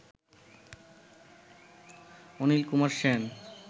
Anil Kumar Sen